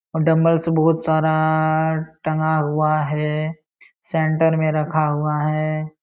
और डम्बल्स बोहोत सारा टंगा हुआ है। सेंटर में रखा हुआ है।